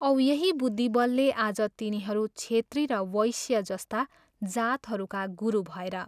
औ यही बुद्धिबलले आज तिनीहरू छेत्री र वैश्य जस्ता जातहरूका गुरु भएर